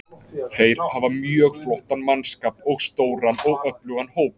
Þeir hafa mjög flottan mannskap og stóran og öflugan hóp.